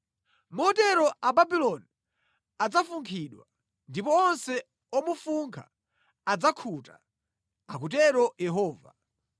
Motero Ababuloni adzafunkhidwa; ndipo onse omufunkha adzakhuta,” akutero Yehova.